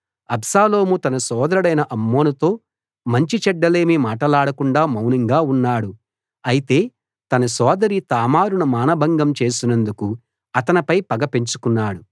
అబ్షాలోము తన సోదరుడైన అమ్నోనుతో మంచిచెడ్డలేమీ మాటలాడకుండా మౌనంగా ఉన్నాడు అయితే తన సోదరి తామారును మానభంగం చేసినందుకు అతనిపై పగ పెంచుకున్నాడు